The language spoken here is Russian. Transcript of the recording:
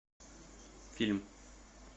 фильм